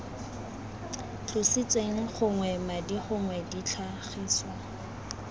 tlositsweng gognwe madi gongwe ditlhagiswa